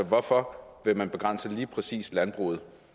hvorfor vil man begrænse lige præcis landbruget